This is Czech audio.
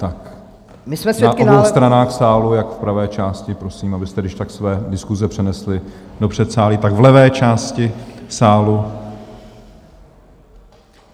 Na obou stranách sálu - jak v pravé části prosím, abyste když tak své diskuse přenesli do předsálí, tak v levé části sálu.